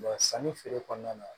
sanni feere kɔnɔna na